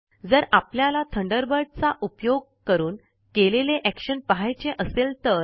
जर आपल्याला थंडरबर्ड चा उपयोग करून केलेले एक्शन पहायचे असेल तर